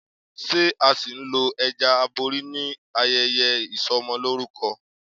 Ṣé a ṣì ń lo ẹja abori níbi ayẹyẹ Ìsọmọlórúkọ?